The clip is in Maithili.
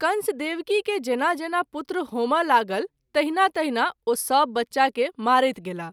कंस देवकी के जेना जेना पुत्र होमय लागल तहिना तहिना ओ सभ बच्चा के मारैत गेलाह।